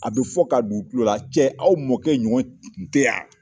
A bɛ fɔ ka don u tulo la ; cɛ aw mɔkɛ ɲɔgɔn tun tɛ yan!